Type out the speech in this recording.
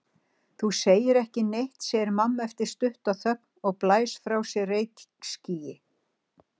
Þú segir ekki neitt, segir mamma eftir stutta þögn og blæs frá sér reykskýi.